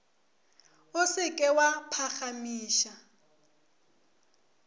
o se ke wa phagamiša